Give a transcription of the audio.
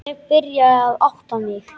Ég byrjaði að átta mig.